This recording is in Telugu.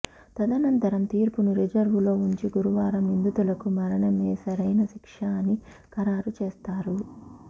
తదనంతరం తీర్పును రిజర్వులో ఉంచి గురువారం నిందితులకు మరణమేసరైన శిక్ష అని ఖరారుచేసారు